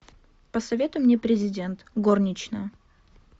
посоветуй мне президент горничная